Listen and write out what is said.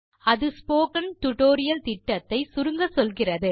அது spoken tutorial திட்டத்தை சுருங்கச்சொல்கிறது